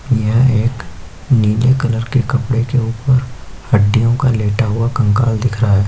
यह एक नीले कलर के कपड़े के ऊपर हड्डियों का लेटा हुआ कंकाल दिख रहा है।